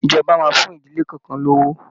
Ìjọba máa fún ìdílé kọ̀ọ̀kan lówó